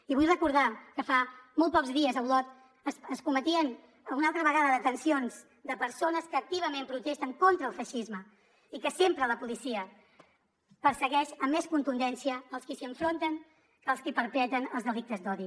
i vull recordar que fa molt pocs dies a olot es cometien una altra vegada detencions de persones que activament protesten contra el feixisme i que sempre la policia persegueix amb més contundència els qui s’hi enfronten que els qui perpetren els delictes d’odi